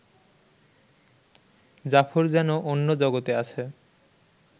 জাফর যেন অন্য জগতে আছে